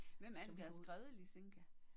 Hvem er det der har skrevet Lisinka?